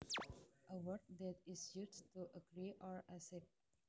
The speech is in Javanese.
A word that is used to agree or accept